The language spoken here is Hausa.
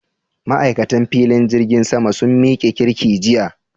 Ma'aikatan filin jirgin sama sun miki kirki jiya?